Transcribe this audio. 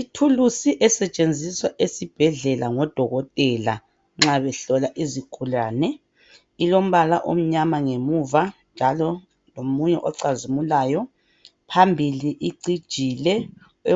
Ithulusi esetshenzisa esibhedlela ngodokotela nxa behlola izigulane, ilombala omunyama ngemuva, njalo lomunye ocazimulayo. Phambili icijile ,